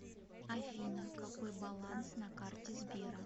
афина какой баланс на карте сбера